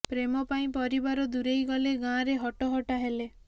ପ୍ରେମ ପାଇଁ ପରିବାର ଦୂରେଇ ଗଲେ ଗାଁରେ ହଟହଟା ହେଲେ